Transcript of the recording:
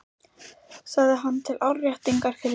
sagði hann til áréttingar fyrri hótun.